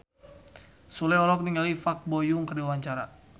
Sule olohok ningali Park Bo Yung keur diwawancara